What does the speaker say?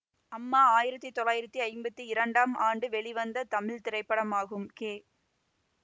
அம்மா ஆயிரத்தி தொள்ளாயிரத்தி ஐம்பத்தி இரண்டாம் ஆண்டு வெளிவந்த தமிழ் திரைப்படமாகும் கே